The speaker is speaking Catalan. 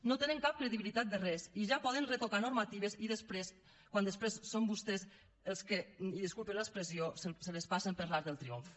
no tenen cap credibilitat de res i ja poden retocar normatives quan després són vostès els que i disculpin l’expressió se les passen per l’arc del triomf